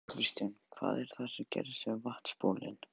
Kristján: Hvað er það sem gerist með vatnsbólin?